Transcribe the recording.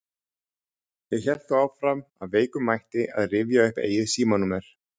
Ég hélt þó áfram af veikum mætti að rifja upp eigið símanúmer.